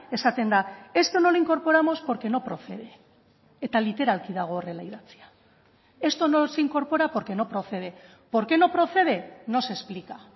esaten da esto no lo incorporamos porque no procede eta literalki dago horrela idatzia esto no se incorpora porque no procede por qué no procede no se explica